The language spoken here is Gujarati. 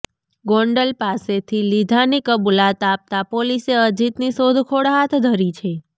ગોંડલ પાસેથી લીધાની કબુલાત આપતા પોલીસે અજીતની શોધખોળ હાથ ધરી છે